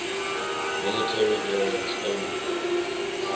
military variants only